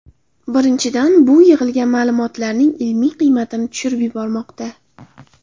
Birinchidan, bu yig‘ilgan ma’lumotlarning ilmiy qiymatini tushirib yubormoqda.